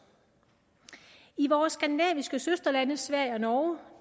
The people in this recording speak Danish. i vores skandinaviske søsterlande sverige og norge